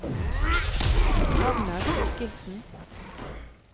Magnar Thorkildsen